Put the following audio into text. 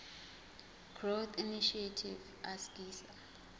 growth initiative asgisa